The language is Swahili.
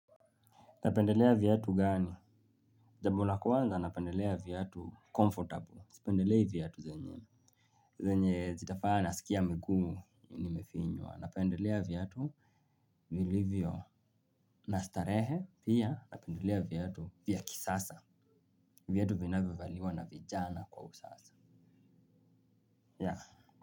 Napendelea viatu gani? Jambo la kwanza napendelea viatu comfortable. Sipendelei viatu zenye. Zenye zitavaa nasikia miguu nimefinywa. Napendelea viatu vilivyo na starehe pia napendelea viatu vya kisasa. Viatu vinavyo valiwa na vijana kwa usasa.